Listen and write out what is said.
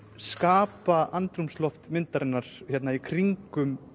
skapa andrúmsloft myndarinnar í kringum